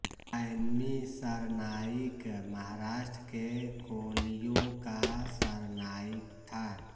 खैमी सरनाईक महाराष्ट्र के कोलियों का सरनाईक था